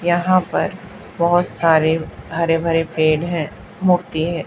यहां पर बहोत सारे हरे भरे पेड़ है मूर्ति है।